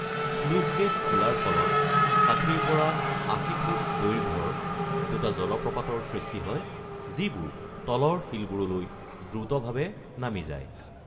Sluice gate খোলাৰ ফলত ৬০ৰ পৰা ৮০ ফুট দৈৰ্ঘ্যৰ দুটা জলপ্ৰপাতৰ সৃষ্টি হয় যিবোৰ তলৰ শিলবোৰলৈ দ্ৰুতভাৱে নামি যায়।